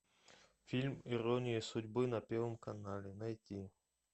фильм ирония судьбы на первом канале найти